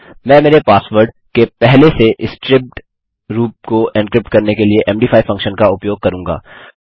मैं मेरे पासवर्ड के पहले से स्ट्रिप्ड रूप को एन्क्रिप्ट करने के लिए मद5 फंक्शन का उपयोग करूँगा